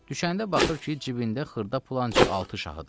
Düşəndə baxır ki, cibində xırda pul ancaq altı şahıdır.